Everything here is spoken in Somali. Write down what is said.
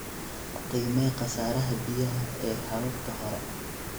Qiimee khasaaraha biyaha ee hababka hore.